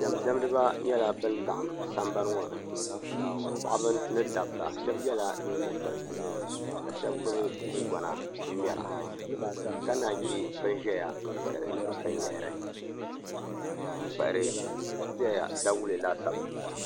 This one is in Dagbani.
Diɛm diɛmdiba nyɛla ban laɣam sambani ŋo ni paɣaba ni dabba shab yɛla nyingokoriti ka shab gbubi gungona n ŋmɛra ka naan chɛ bin ʒɛya n kpahari binyahari n kpahari dawulɛ laasabu n bala